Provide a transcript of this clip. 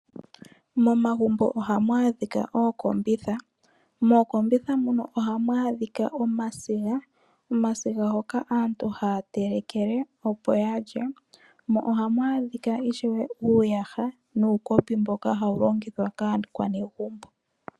Momagumbo ohamu adhika ookombitha moka hamu adhika omasiga hoka aantu haya telekele opo ya lye. Ohamu adhika wo uuyaha nuukopi mboka hawu longithwa kaakwanegumbo.